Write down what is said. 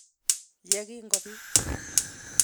ye kingobiit".